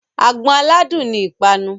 Àgbọn aládùn ni ìpanu.